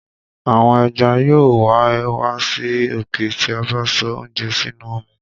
àwọn ẹja yóò wẹ̀ wá sí òkè ti a bá sọ oúnjẹ sínú omi.